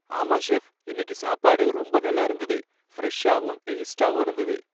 ஆமா, செஃப், இன்னிக்கு சாப்பாடு ரொம்ப நல்லா இருந்தது. ஃபிரெஷ்ஷாவும், டேஸ்ட்டாவும் இருந்தது